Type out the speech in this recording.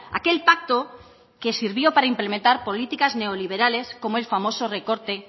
aquel pacto que sirvió para implementar políticas neoliberales como el famoso recorte